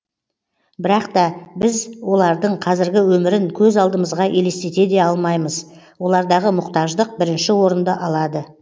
бірақ та біз олардың қазіргі өмірін көз алдымызға елестете де алмаймыз олардағы мұқтаждық бірінші орынды алады